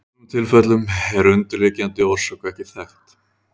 Í sumum tilfellum er undirliggjandi orsök ekki þekkt.